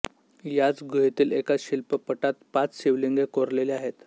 याच गुहेतील एका शिल्पपटात पाच शिवलिंगे कोरलेली आहेत